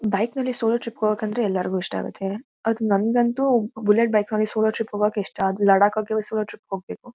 ಬೈಕ್ನಲ್ಲಿ solo trip ಹೋಗೋಕ್ ಅಂತೂ ಎಲ್ಲರಿಗೂ ಇಷ್ಟ ಆಗುತ್ತೆ ಅದು ನಂಗಂತೂ ಬುಲೆಟ್ ಬೈಕ್ ಅಲ್ಲಿ ಸೋಲೋ ಟ್ರಿಪ್ ಹೋಗೋಕ್ ಇಷ್ಟ ಲಡಾಕ್ ಆಕೆ ಸೋಲೋ ಟ್ರಿಪ್ ಹೋಗ್ಬೇಕು.